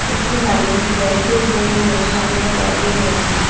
একটি মানুষ ব্যাংক -এর বই নিয়ে সামনে দাঁড়িয়ে রয়েছে।